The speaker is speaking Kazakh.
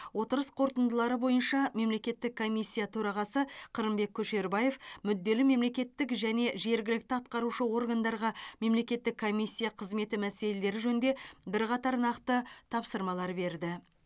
отырыс қорытындылары бойынша мемлекеттік комиссия төрағасы қырымбек көшербаев мүдделі мемлекеттік және жергілікті атқарушы органдарға мемлекеттік комиссия қызметі мәселелері жөнінде бірқатар нақты тапсырма берді